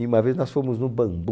E uma vez nós fomos no bambu.